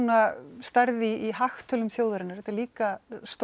stærð í hagtölum þjóðarinnar þetta er líka